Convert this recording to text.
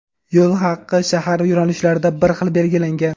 Yo‘l haqi shahar yo‘nalishlarida bir xil belgilangan.